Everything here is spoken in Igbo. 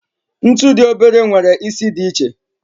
Ntu di obere nwere isi di iche.